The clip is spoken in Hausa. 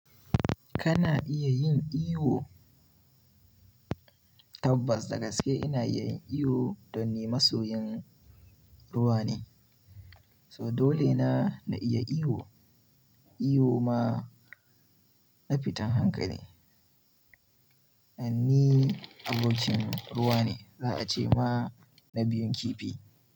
Kana iya yin iyo? Tabbas dagaske ina iya yin iyo dan ni masoyin ruwa ne. So dole na, na iya iyo. Iyo ma na fitan hankali. An ni abokin ruwa ne za a ce ma na biyun kifi.